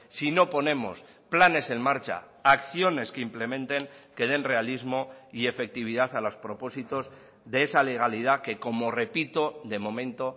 si no ponemos planes en marcha acciones que implementen que den realismo y efectividad a los propósitos de esa legalidad que como repito de momento